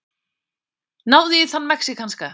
Náðu í þann mexíkanska!